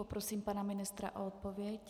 Poprosím pana ministra o odpověď.